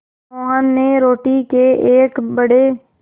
मोहन ने रोटी के एक बड़े